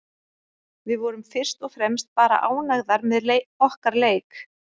Við vorum fyrst og fremst bara ánægðar með okkar leik.